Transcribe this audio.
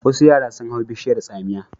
Wasu yara sun hau bishiyar tsamiya.